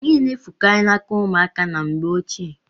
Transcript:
Ihe na-efukari n'aka ụmụaka na mgbe ochie.